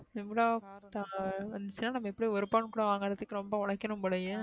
இன்னொருதவுங்க வந்சுனா நம்ம எப்டியும் ஒரு பவுன் கூடவாங்குறதுக்கு ரொம்ப ஓலைகனும் போலயே